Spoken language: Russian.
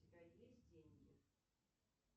у тебя есть деньги